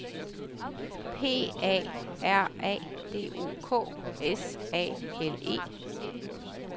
P A R A D O K S A L E